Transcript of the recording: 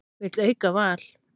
Vill auka val